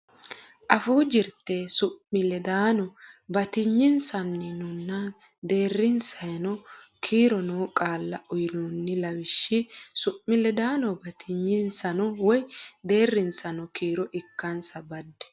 Afuu Jirte Su mi ledaano Batinyisaanonna Deerrisaano Kiiro noo qaalla uynoonni lawishshi su mi ledaano batinyisaano woy deerrisaano kiiro ikkansa badde.